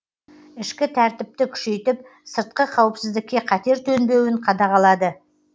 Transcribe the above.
ішкі тәртіпті күшейтіп сыртқы қауіпсіздікке қатер төнбеуін қадағалады